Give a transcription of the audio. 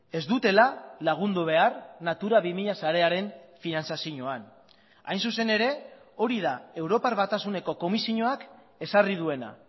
ez dutela lagundu behar natura bi mila sarearen finantzazioan hain zuzen ere hori da europar batasuneko komisioak ezarri duena